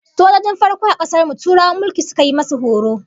Sojojin farko a kasar mu Turawan mulki suka yi musu horo